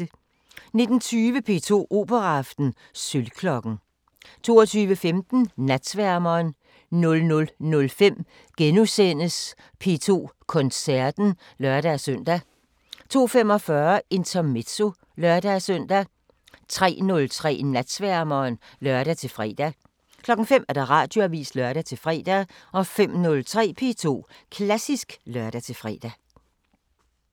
19:20: P2 Operaaften: Sølvklokken 22:15: Natsværmeren 00:05: P2 Koncerten *(lør-søn) 02:45: Intermezzo (lør-søn) 03:03: Natsværmeren (lør-fre) 05:00: Radioavisen (lør-fre) 05:03: P2 Klassisk (lør-fre)